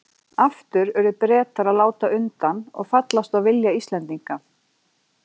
Aftur urðu Bretar að láta undan og fallast á vilja Íslendinga.